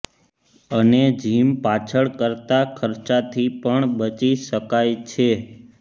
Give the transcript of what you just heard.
અને જીમ પાછળ કરતા ખર્ચાથી પણ બચી શકાય છે